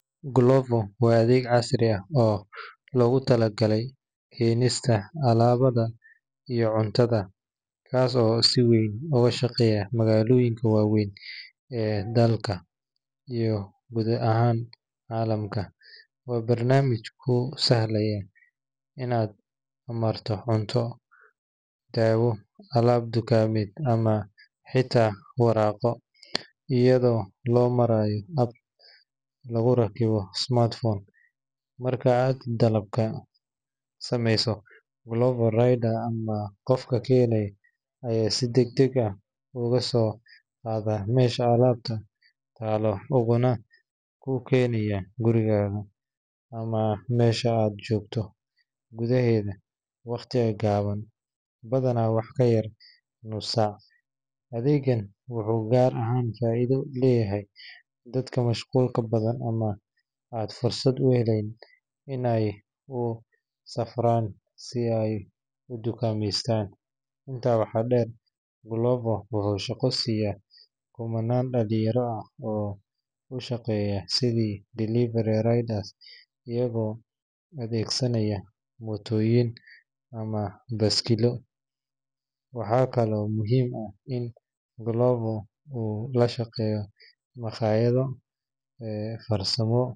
Gulovo waa adheg casri ah oo logu tala gale kenista alabaha iyo cuntaada kasi oo si weyn oga shaqeyo magaada wawen dalka iyo calamka, ama xita waraqo iyada oo lo marayo hab, wuxuu ku kenaya guriga ama mesha aa jogto, inta waxaa der wuxuu shaqeya dalin yarada iyaga oo adhegsanaya motoyin, wuxuu lashaqeya hotela ee farsamo.